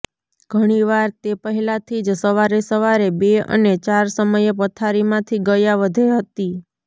ઘણીવાર તે પહેલાથી જ સવારે સવારે બે અને ચાર સમયે પથારીમાંથી ગયા વધે હતી